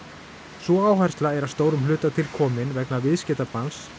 sú áhersla er að stórum hluta til komin vegna viðskiptabanns